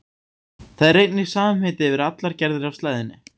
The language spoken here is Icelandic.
Það er einnig samheiti yfir allar gerðir af slæðunni.